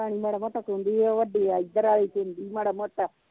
ਕੂਦੀ ਉਹ ਵੱਡੀ ਇਧਰ ਆਲੀ ਕੂਦੀ ਮਾੜਾ ਮੋਟਾ